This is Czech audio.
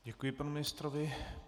Děkuji panu ministrovi.